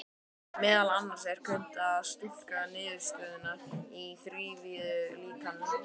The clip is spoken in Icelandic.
Meðal annars er unnt að túlka niðurstöðurnar í þrívíðu líkani.